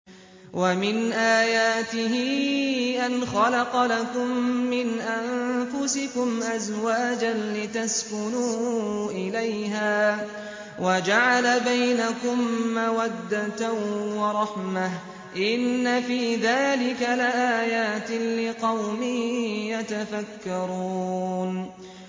وَمِنْ آيَاتِهِ أَنْ خَلَقَ لَكُم مِّنْ أَنفُسِكُمْ أَزْوَاجًا لِّتَسْكُنُوا إِلَيْهَا وَجَعَلَ بَيْنَكُم مَّوَدَّةً وَرَحْمَةً ۚ إِنَّ فِي ذَٰلِكَ لَآيَاتٍ لِّقَوْمٍ يَتَفَكَّرُونَ